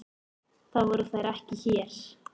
Það voru þær ekki hér.